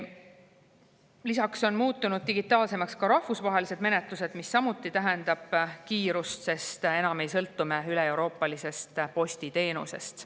Lisaks on muutunud digitaalsemaks rahvusvahelised menetlused, mis samuti kiirust, sest enam ei sõltu me üleeuroopalisest postiteenusest.